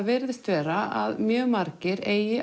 virðist vera að mjög margir eigi